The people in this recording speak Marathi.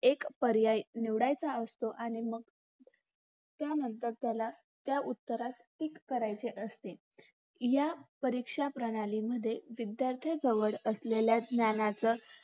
एक पर्याय निवडायचा असतो आणि मग त्यानंतर त्याला त्या उत्तरास टीक करायची असते या परीक्षाप्रणालीमध्ये विध्यार्थांजवळ असलेले ज्ञानच